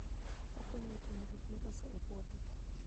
Okonyo e ting'o gik miloso e puothe.